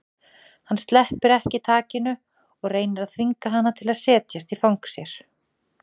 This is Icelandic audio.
Hann sleppir ekki takinu og reynir að þvinga hana til að setjast í fang sér.